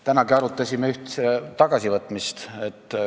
Tänagi arutasime üht tagasivõtmist.